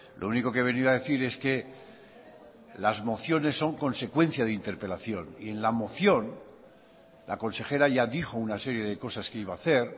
lo único que he venido a decir es que las mociones son consecuencia de interpelación y en la moción la consejera ya dijo una serie de cosas que iba a hacer